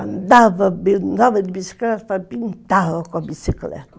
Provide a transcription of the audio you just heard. Andava andava de bicicleta, pintava com a bicicleta.